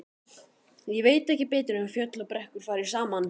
Ég veit ekki betur en fjöll og brekkur fari saman.